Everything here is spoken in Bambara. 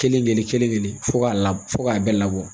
Kelen kelen kelen fɔ ka lab fɔ k'a bɛɛ labɔ